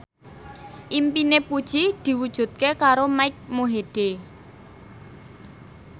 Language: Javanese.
impine Puji diwujudke karo Mike Mohede